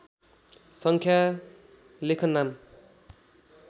सङ्ख्या लेखन नाम